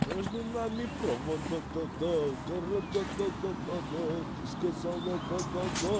между нами провода да да города да да да да ты сказала да да да